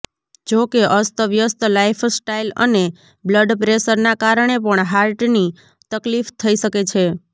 જો કે અસ્તવ્યસ્ત લાઇફસ્ટાઇલ અને બ્લડપ્રેશરના કારણે પણ હાર્ટની તકલીફ થઇ શકે છે